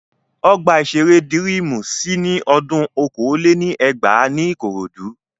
Ọgbà-ìṣeré Dírímù ṣí ní odún okòó lé ní ẹgbàá ní Ìkòròdú